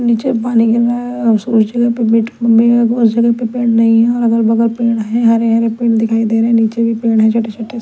नीचे पानी गिर रहा है और उस उस जगह पे उस जगह पे पेड़ नहीं है और अगल बगल पेड़ है हरे हरे पेड़ दिखाई दे रहे हैं नीचे भी पेड़ है छोटे छोटे से--